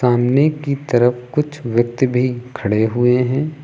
सामने की तरफ कुछ व्यक्ति भी खड़े हुए हैं।